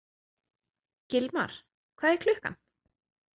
Gilmar, hvað er klukkan?